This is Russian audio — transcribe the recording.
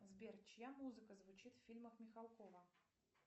сбер чья музыка звучит в фильмах михалкова